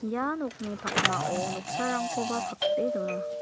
ia nokni pakmao noksarangkoba pate dona.